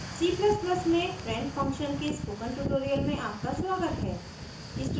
c ++ में friend function के spoken tutorial में आपका स्वागत है